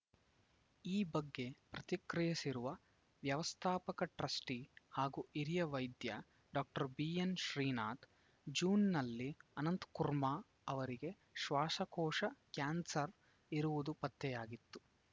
ಈ ಬಗ್ಗೆ ಪ್ರತಿಕ್ರಿಯಿಸಿರುವ ವ್ಯವಸ್ಥಾಪಕ ಟ್ರಸ್ಟಿಹಾಗೂ ಹಿರಿಯ ವೈದ್ಯ ಡಾಕ್ಟರ್ ಬಿಎನ್‌ ಶ್ರೀನಾಥ್‌ ಜೂನ್‌ನಲ್ಲಿ ಅನಂತಕುರ್ಮ ಅವರಿಗೆ ಶ್ವಾಸಕೋಶ ಕ್ಯಾನ್ಸರ್‌ ಇರುವುದು ಪತ್ತೆಯಾಗಿತ್ತು